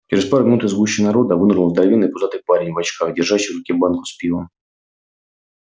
через пару минут из гущи народа вынырнул здоровенный пузатый парень в очках держащий в руке банку с пивом